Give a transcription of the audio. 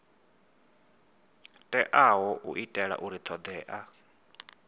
teaho u itela uri thodea